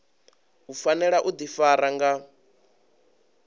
u fanela u ḓifara nga